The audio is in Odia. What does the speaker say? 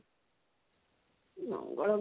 ମଙ୍ଗଳ